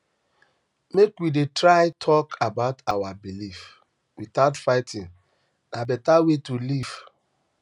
um make we dey try talk um about our beliefs without fighting na beta way to live um